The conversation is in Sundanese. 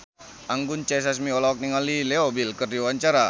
Anggun C. Sasmi olohok ningali Leo Bill keur diwawancara